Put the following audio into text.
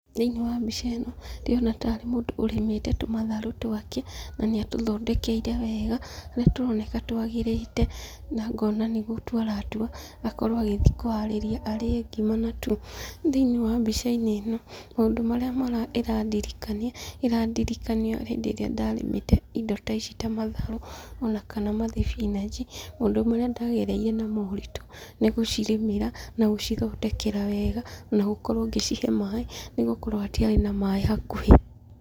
Thĩiniĩ wa mbica ĩno, ndĩrona tarĩ mũndũ ũrĩmĩte tũmatharũ twake, na nĩ atũthondekeire wega, harĩa tũroneka twagĩrĩte, na ngona nĩ gũtua aratua, akorwo agĩthiĩ kũharĩria arĩe ngima natuo. Thĩiniĩ wa mbica-inĩ ĩno, maũndũ marĩa ĩrĩandirikania, ĩrandirikania hĩndĩ ĩrĩa ndarĩmĩte indo ta ici ta matharũ, ona kana mathibinanji, maũndũ marĩa ndagerire namo maritũ nĩ gũcirĩmĩra na gũcithondekera wega, ona gukorwo ngĩcihe maaĩ, nĩ gũkorwo hatiarĩ na maaĩ hakuhĩ.